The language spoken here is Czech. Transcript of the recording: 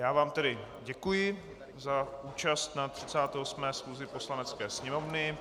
Já vám tedy děkuji za účast na 38. schůzi Poslanecké sněmovny.